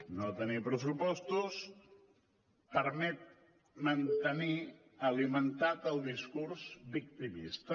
no tenir pressupostos permet mantenir alimentat el discurs victimista